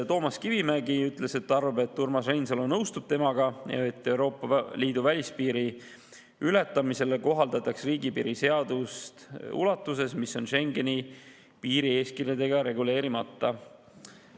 Toomas Kivimägi ütles, et ta arvab, et Urmas Reinsalu nõustub temaga, et Euroopa Liidu välispiiri ületamise korral kohaldataks riigipiiri seadust ulatuses, mis on Schengeni piirieeskirjadega reguleerimata.